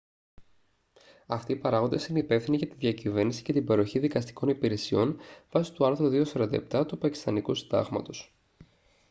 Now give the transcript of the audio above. αυτοί οι παράγοντες είναι υπεύθυνοι για τη διακυβέρνηση και την παροχή δικαστικών υπηρεσιών βάσει του άρθρου 247 του πακιστανικού συντάγματος